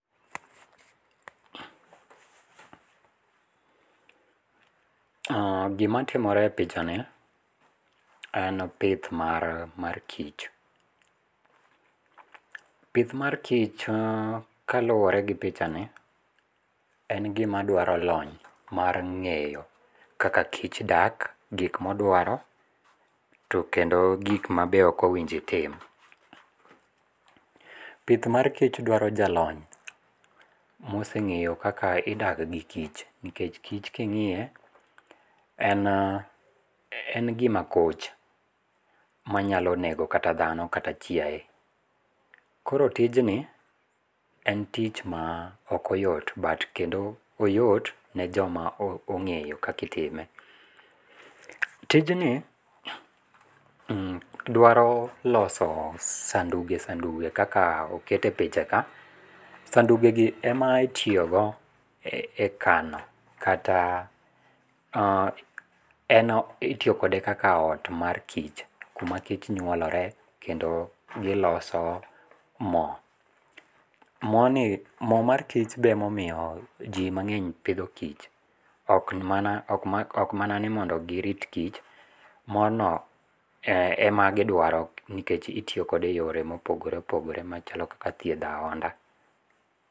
Gimatimore e picha ni , en pith mar kich , pith mar kich kaluore gi pichani en gima dwaro lony mar ng'eyo kaka kich dak, gik modwaro to kendo gik ma be okowinjo itim, pith mar kich dwaro ja lony moseng'eyo kaka idak gi kich, nikech kich king'iye en, en gima koch manyalo nego kata dhano kata chiaye, koro tijni en tich maa ok oyot, kendo oyot ne joma ong'eyo gi kaka itime, tijni dwaro loso sanduge, sanduge gi kaka okete e pichaka, sandugegi em itiyogo e kano kata en itiyo kode kaka ot mar kich kuma kich nyuolore kendo giloso mo. Moni mo mar kich be omomiyo ji mang'eny pitho kich, ok mana ni mondo girit kich mono emagidwaro nikech itiyo kode e yore mopogore opogore kaka yore mag thietho ahonda